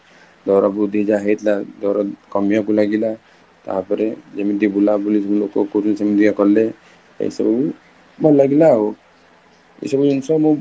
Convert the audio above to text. ଦର ବୃଦ୍ଧି ଯାହା ହେଇଥିଲା ଦର କମିବାକୁ ଲାଗିଲା, ତାପରେ ଯେମିତି ବୁଲା ବୁଲି ଯେମିତି ଲୋକ କରନ୍ତି ସେମିତି ଲୋକ କଲେ ଏଇ ସବୁ ଭଲ ଲାଗିଲା ଆଉ, ଏଇ ସବୁ ଜିନିଷ ମୁଁ